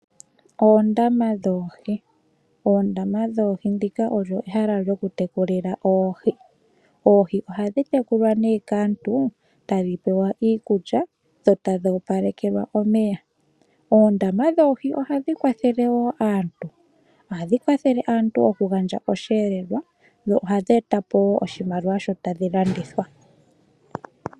Oondama dhoohi. Oondama dhoohi ndika olyo ehala lyo ku tekulila oohi . Oohi dhi tekulwa nee kaantu ta dhipewa iikulya dho ta dhi opalekelwa omeya .oondama dhoohi oha dhi kwathele wo aantu. Ohadhi kwathele aantu okugandja osheelelwa dho ohadhi etapo oshimaliwa sho ta dhi landithwa.